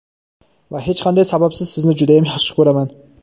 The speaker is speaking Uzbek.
Va hech qanday sababsiz sizni judayam yaxshi ko‘raman).